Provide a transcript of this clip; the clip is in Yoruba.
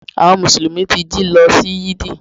Àwon mùsùlùmí ti jí lo sí Yídì